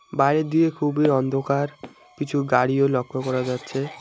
বাইরের দিকে খুবই অন্ধকার কিছু গাড়িও লক্ষ করা যাচ্ছে।